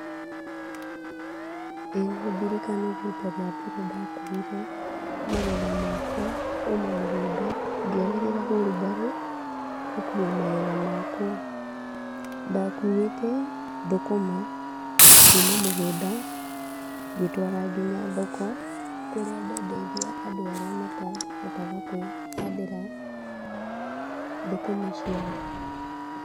ĩĩ no ndirikane rita rĩa mbere ndakuire magetha makwa kuma mũgũnda, ngĩhũthĩra hurubarũ, gũkua magetha makwa, ndakuĩte thũkũma kuma mũgũnda ngĩtwara nginya thoko, kũrĩa ndendeirie andũ arĩa matahotaga kwĩhandĩra thũkũma ciao.